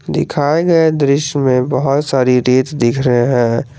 दिखाए गए दृश्य में बहोत सारी रेत दिख रहे हैं।